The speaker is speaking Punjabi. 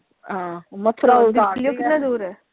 ਹਾਂ ਮਥੁਰਾ ਕਿੰਨਾ ਦੂਰ ਹੈ?